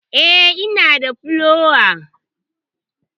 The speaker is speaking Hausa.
E, ina da pillow.